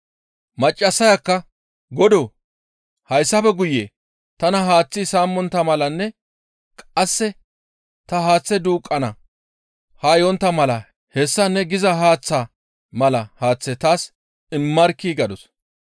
Maccassayakka, «Godoo! Hayssafe guye tana haaththi saamontta malanne qasseka ta haaththe duuqqana haa yontta mala hessa ne giza haaththaa mala haaththe taas immarkkii?» gadus.